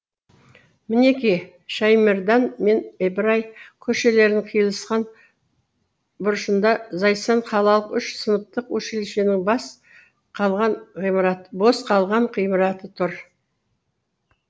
мінеки шаймардан мен ибрай көшелерінің қиылысқан бұрышында зайсан қалалық үш сыныптық училищенің бос қалған ғимараты тұр